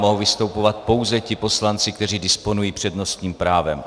Mohou vystupovat pouze ti poslanci, kteří disponují přednostním právem.